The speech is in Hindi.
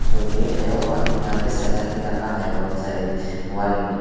जो गेट है वो यहाँ पे अभी सजा के रखा बहुत सारे वॉल में।